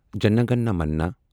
جَنہ گنہَ منہَ